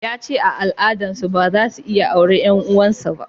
Ya ce a al'adan su ba za su iya auri 'yan uwan su ba